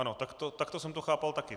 Ano, takto jsem to chápal taky.